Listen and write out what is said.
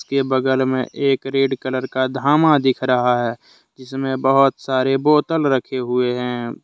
के बगल में एक रेड कलर का धामा दिख रहा है जिसमें बहुत सारे बोतल रखे हुए हैं।